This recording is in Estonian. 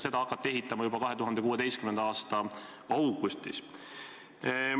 Seda hakati ehitama juba 2016. aasta augustis.